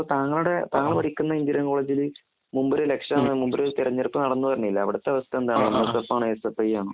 താങ്കളുടെ താങ്കൾ പഠിക്കുന്ന എഞ്ചിനീയറിംഗ് കോളേജിലെ മുമ്പ് ഒരു ഇലക്ഷൻ മുമ്പൊരു തെരഞ്ഞെടുപ്പ് നടന്ന് എന്ന് പറഞ്ഞില്ലേ? അവിടത്തെ അവസ്ഥ എന്താണ്? എംഎസ്എഫ് ആണോ എസ്എഫ്ഐ ആണോ?